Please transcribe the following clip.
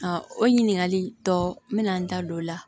o ɲininkali tɔ mina n da don o la